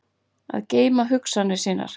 Að geyma hugsanir sínar